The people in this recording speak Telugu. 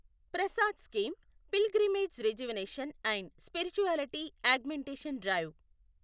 Prasad scheme pilgrimage rejuvenation and spirituality augmentation drive